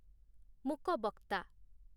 ମୂକ ବକ୍ତା